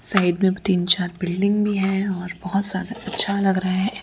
Side में तीन चार बिल्डिंग भीं हैं और बहोत सारा अच्छा लग रहें है।